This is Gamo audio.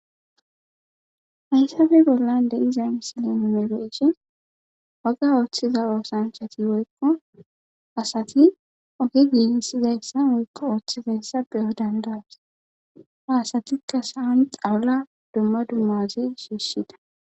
hayssape bollan de7izay misilen melo7ishe waga ooththiza oosanchati woykko asati oge giigissizayssa woykko ooththizayssa beyo dandaws ha asatikka sa7an qawula dumma dummaoze shiishida